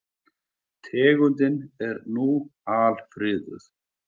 Tegundin er nú alfriðuð.